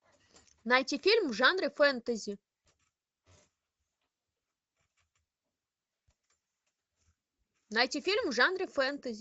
найти фильм в жанре фэнтези найти фильм в жанре фэнтези